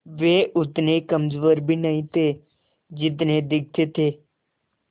वे उतने कमज़ोर भी नहीं थे जितने दिखते थे